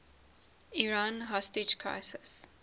iran hostage crisis